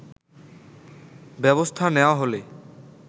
ব্যবস্থা নেওয়া হলে